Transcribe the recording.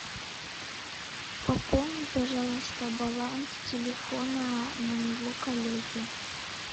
пополни пожалуйста баланс телефона моего коллеги